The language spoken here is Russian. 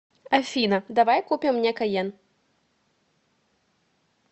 афина давай купим мне кайен